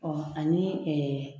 ani